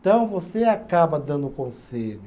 Então, você acaba dando o conselho.